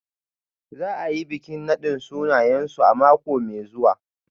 Za a yi bikin nadin sunayensu a mako mai zuwa.